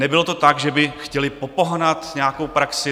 Nebylo to tak, že by chtěli popohnat nějakou praxi.